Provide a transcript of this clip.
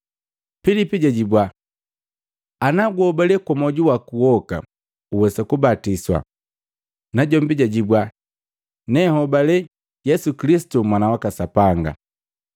Pilipu jajibwa, “Ana guhobale kwa mwoju waku woka uwesa kubatiswa.” Najombi jajibwa, “Nehobale Yesu Kilisitu Mwana waka Sapanga.”